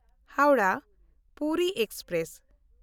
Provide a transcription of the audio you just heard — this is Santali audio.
ᱦᱟᱣᱲᱟᱦ–ᱯᱩᱨᱤ ᱮᱠᱥᱯᱨᱮᱥ